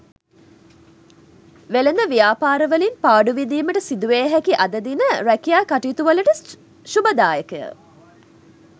වෙළෙඳ ව්‍යාපාරවලින් පාඩු විඳීමට සිදුවිය හැකි අද දින රැකියා කටයුතුවලට ශුභදායකය.